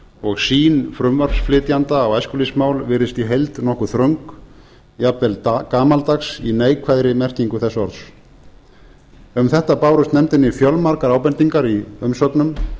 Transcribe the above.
og sýn frumvarpsflytjanda á æskulýðsmál virðist í heild nokkuð þröng jafnvel gamaldags í neikvæðri merkingu þess orðs um þetta bárust nefndinni fjölmargar ábendingar í umsögnum